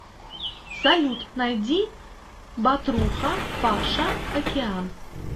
салют найди батруха паша океан